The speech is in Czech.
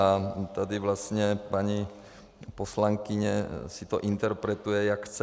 A tady vlastně paní poslankyně si to interpretuje, jak chce.